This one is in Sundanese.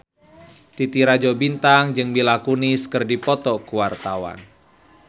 Titi Rajo Bintang jeung Mila Kunis keur dipoto ku wartawan